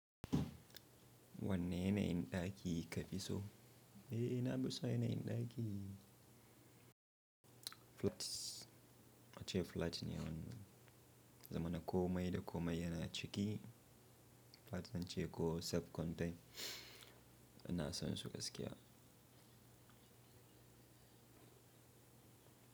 Wanne yanayin daki ka fi so? Eh na fison yanayin daki. Flats ace flat ne wannan, zamana ko mai da ko mai yana ciki. Flats zance ko self contain ina san su gaskiya.